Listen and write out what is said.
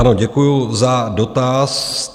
Ano, děkuju za dotaz.